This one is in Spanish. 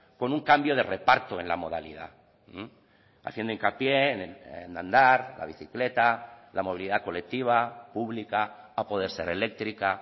con un cambio de reparto en la modalidad haciendo hincapié en andar la bicicleta la movilidad colectiva pública a poder ser eléctrica